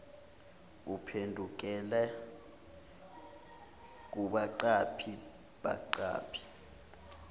uphendukela kubaqaphi baqaphi